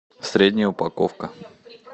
средняя упаковка